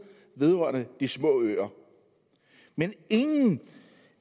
vedrørende de små øer men ingen